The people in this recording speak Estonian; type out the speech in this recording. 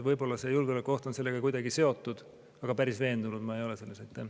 Võib-olla see julgeolekuoht on sellega kuidagi seotud, aga päris veendunud ma selles ei ole.